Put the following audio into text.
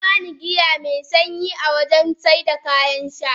Yaba ni giya me sanyi a wurin saida kayan sha